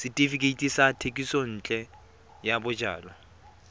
setefikeiti sa thekisontle ya bojalwa